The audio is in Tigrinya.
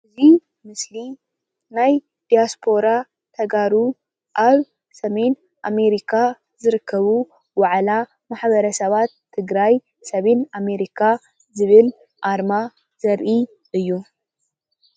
እዚ ምስሊ ናይ ዲያስፖራ ተጋሩ ኣብ ሰሜን ኣመሪካ ዝርከቡ ዋዕላ ማሕበረሰባት ትግራይ ሰሜን ኣመሪካ ዝብል ኣርማ ዘርኢ እዩ።